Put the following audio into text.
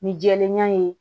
Ni jɛlenya ye